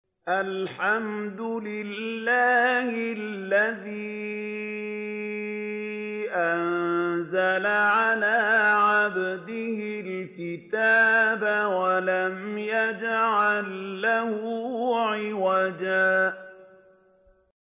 الْحَمْدُ لِلَّهِ الَّذِي أَنزَلَ عَلَىٰ عَبْدِهِ الْكِتَابَ وَلَمْ يَجْعَل لَّهُ عِوَجًا ۜ